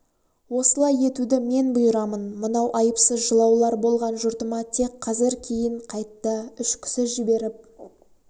осылай етуді мен бұйырамын мынау айыпсыз жылаулар болған жұртыма тек қазір кейн қайтта үш кісі жіберіп